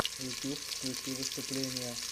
ютуб включи выступления